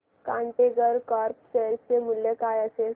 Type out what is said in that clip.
container corp share चे मूल्य काय असेल